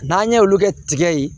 N'an ye olu kɛ tigɛ ye